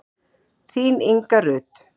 Þín Inga Rut.